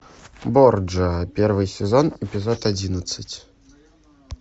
борджиа первый сезон эпизод одиннадцать